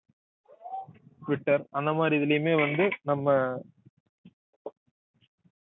Twitter அந்த மாதிரி இதிலேயுமே வந்து நம்ம